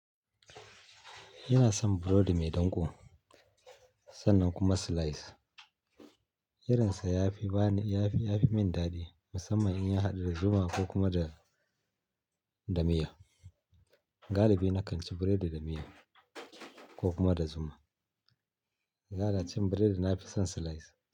Ina san burodi mai danƙo sannan kuma slice. Irinsa ya fi bani, ya fi min daɗi musamman in ya haɗu da zuma ko kuma da, da miya. Galibi na kan ci buredi da miya ko kuma da zuma. Bana cin buredi nafi son slice.